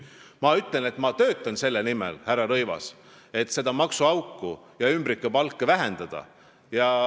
Ma ütlen, et ma töötan selle nimel, härra Rõivas, et seda maksuauku ja ümbrikupalkade maksmist vähendada.